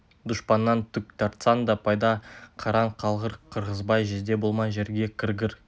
дұшпаннан түк тартсаң да пайда қараң қалғыр қырғызбай жезде болмай жерге кіргір